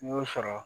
N y'o sɔrɔ